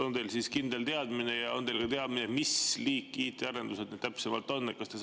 On teil siis kindel teadmine ja on teil teadmine, mis liiki IT‑arendused need täpsemalt on?